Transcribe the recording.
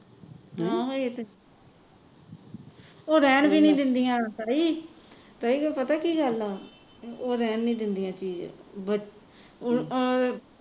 ਹਾਂ ਹੈ ਤੇ ਉਹ ਰਹਿਣ ਵੀ ਨਹੀਂ ਦਿੰਦਿਆਂ ਤਾਈ ਤਾਈ ਉਹ ਪਤਾ ਕਿ ਗੱਲ ਆ ਉਹ ਰਹਿਣ ਨਹੀਂ ਦਿੰਦਿਆਂ ਚੀਜ ਬ ਅਹ